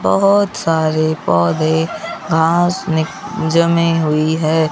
बहोत सारे पौधे घांस जमे हुई है।